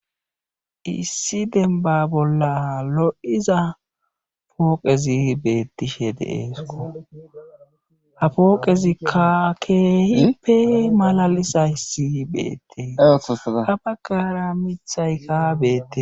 issi dembba bolla lo7iza pooqezi beettishe de7eekko ha pooqezikka keehippe malalizayssi beettes ha baggaara mithayka beettes.